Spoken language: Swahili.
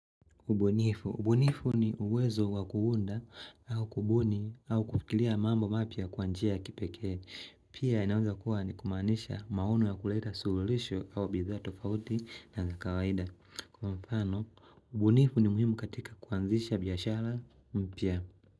Ubunifu. Ubunifu ni uwezo wa kuunda au kubuni au kufikiria mambo mapya kwa njia ya kipekee. Pia inaweza kuwa ni kumaanisha maono wa kuleta suruhisho au bidhaa tofauti na za kawaida. Kwa mfano, ubunifu ni muhimu katika kuanzisha biashara mpya.